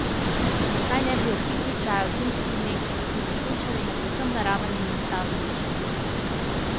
Zakaj ne bi ob pitju čaja v zimskih dneh tudi shujšali na povsem naraven in enostaven način?